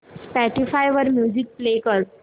Spotify वर music play कर